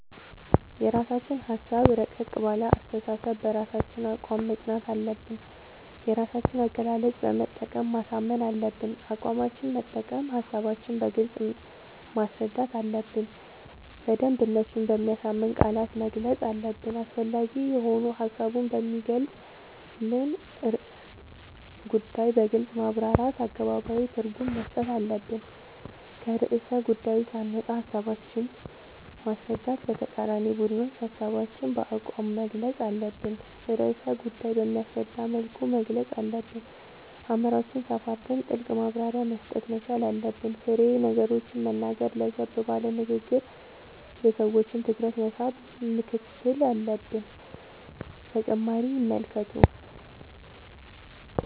የራስችን ሀሳብ እረቀቅ ባለ አስተሳሰብ በራሳችን አቋም መፅናት አለብን የራሳችን አገላለፅ በመጠቀም ማሳመን አለብን አቋማችን መጠቀም ሀሳባችን በግልጽ ማስረዳት አለብን በደንብ እነሱን በሚያሳምን ቃላት መግለፅ አለብን አስፈላጊ የሆኑ ሀሳቡን በሚገልፅን ርዕሰ ጉዳዮን በግልፅ ማብራራት አገባባዊ ትርጉም መስጠት አለብን። ከርዕሰ ጉዳዪ ሳንወጣ ሀሳባችን ማስረዳት ለተቃራኒ ቡድኖች ሀሳባችን በአቋም መግልፅ አለብን ርዕሰ ጉዳይ በሚያስረዳ መልኩ መግለፅ አለብን አእምሮአችን ሰፋ አድርገን ጥልቅ ማብራሪያ መስጠት መቻል አለብን። ፋሬ ነገሮችን መናገር ለዘብ ባለ ንግግር የሰዎችን ትኩረት መሳብ ምክትል አለብን።…ተጨማሪ ይመልከቱ